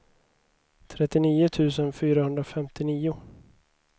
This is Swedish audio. trettionio tusen fyrahundrafemtionio